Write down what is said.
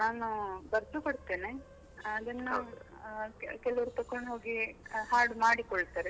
ನಾನು, ಬರ್ದು ಕೊಡ್ತೇನೆ ಆದರೆ ಕೆಲವರು ತೆಕ್ಕೊಂಡು ಹೋಗಿ, ಹಾಡು ಮಾಡಿಕೊಳ್ತಾರೆ.